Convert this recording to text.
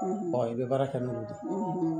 i bɛ baara kɛ n'o ye